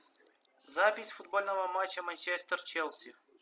запись футбольного матча манчестер челси